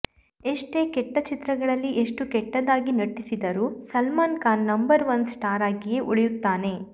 ಎಷ್ಟೇ ಕೆಟ್ಟ ಚಿತ್ರಗಳಲ್ಲಿ ಎಷ್ಟೇ ಕೆಟ್ಟದಾಗಿ ನಟಿಸಿದರೂ Salman Khan number one star ಆಗಿಯೇ ಉಳಿಯುತ್ತಾನೆ